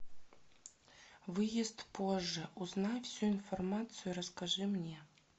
выезд позже узнай всю информацию и расскажи мне